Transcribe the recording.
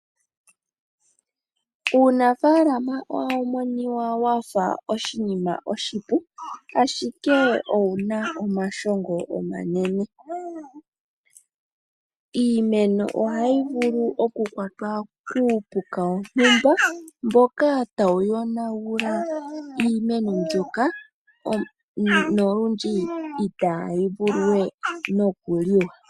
Uunafalama ohawumoniwa wafa oshinima oshipu ashike owuna omashongo omanene, iimeno ohayi vulu oku kwatwa kupuka wontumba mboka tawu yonangula iimeno mbyoka nolundji itayi vuluwe nokuliwa.